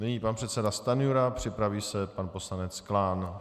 Nyní pan předseda Stanjura, připraví se pan poslanec Klán.